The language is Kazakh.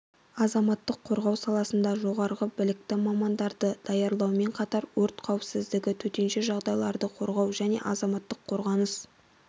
азаматтық қорғау саласында жоғары білікті мамандарды даярлаумен қатар өрт қауіпсіздігі төтенше жағдайларда қорғау және азаматтық қорғаныс